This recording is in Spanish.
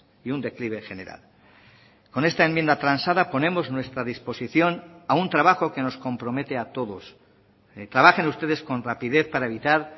y un declive general con esta enmienda transada ponemos nuestra disposición a un trabajo que nos compromete a todos trabajen ustedes con rapidez para evitar